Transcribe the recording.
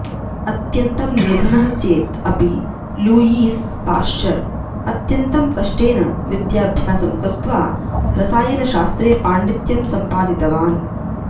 अत्यन्तं निर्धनः चेत् अपि लूयीस् पाश्चर् अत्यन्तं कष्टेन विद्याभ्यासं कृत्वा रसायनशास्त्रे पाण्डित्यं सम्पादितवान्